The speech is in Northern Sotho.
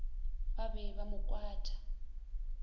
ba be ba mo kwatša